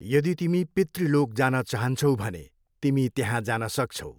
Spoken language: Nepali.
यदि तिमी पितृलोक जान चाहन्छौ भने, तिमी त्यहाँ जान सक्छौ।